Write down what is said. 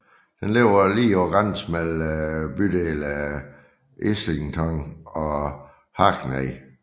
Den ligger lige på grænsen mellem bydelene Islington og Hackney